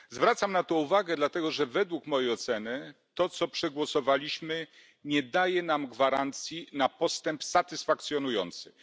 Zwracam na to uwagę dlatego, że według mojej oceny to, co przegłosowaliśmy, nie daje nam gwarancji na satysfakcjonujący postęp.